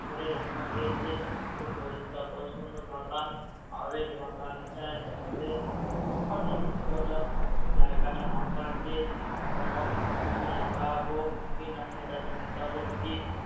করে রাখা হয়েছে খুব পরিষ্কার পরিছন্ন বাগান। আমাদের বাগানটার মধ্যে অনেক জায়গাটা ফাঁকা আছে এখনো কিছু লাগাবো কি না সেটা চিন্তা করছি।